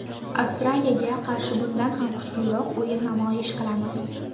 Avstraliyaga qarshi bundan ham kuchliroq o‘yin namoyish qilamiz.